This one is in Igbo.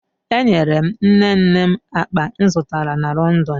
Enyere m nne nne m akpa m zụtara na Lọndọn